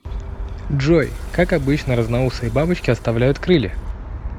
джой как обычно разноусые бабочки оставляют крылья